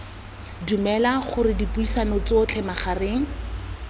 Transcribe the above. dumela gore dipuisano tsotlhe magareng